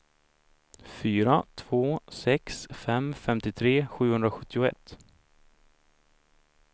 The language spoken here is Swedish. fyra två sex fem femtiotre sjuhundrasjuttioett